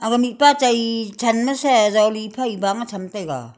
aga mihpa chai than ma jali e bang tham taiga.